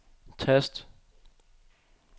tast